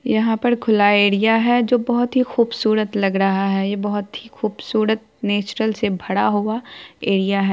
यहाँ पर खुला एरिया हैं जो की बहुत ही खुबसूरत लग रहा है। यह बहुत ही खुबसूरत नेचरल भरा हुआ है एरिया है।